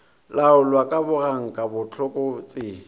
laolwa ka boganka le bohlokotsebe